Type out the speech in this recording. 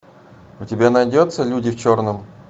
у тебя найдется люди в черном